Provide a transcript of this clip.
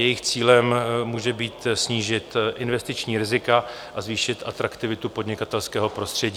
Jejich cílem může být snížit investiční rizika a zvýšit atraktivitu podnikatelského prostředí.